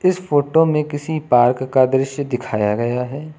इस फोटो में किसी बाग का दृश्य दिखाया गया है।